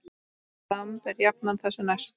Dramb er jafnan þessu næst.